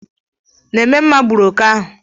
Nememma gburu oke ahu